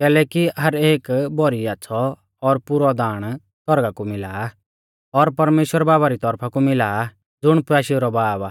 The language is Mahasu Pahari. कैलैकि हर एक भौरी आच़्छ़ौ और पुरौ दाण सौरगा कु मिला आ और परमेश्‍वर बाबा री तौरफा कु मिला आ ज़ुण प्याशेऊ रौ बाब आ